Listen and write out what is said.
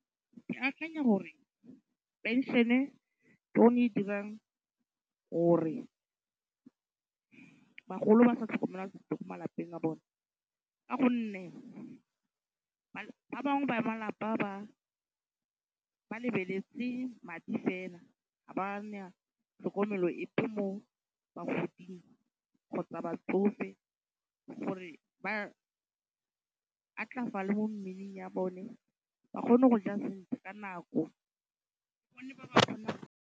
Ke akanya gore pension-e ke yone e e dirang gore bagolo ba sa tlhokomela sentle ko malapeng a bone. Ka gonne ba bangwe ba malapa ba lebeletse madi fela. Ga ba na tlhokomelo epe mo bagoding kgotsa batsofe gore ba atlafale mo mmeleng ya bone, ba kgone go ja sentle ka nako